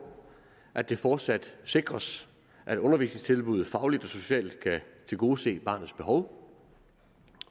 at det fortsat sikres at undervisningstilbuddet fagligt og socialt kan tilgodese barnets behov